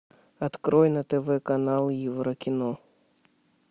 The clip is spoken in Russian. открой на тв канал евро кино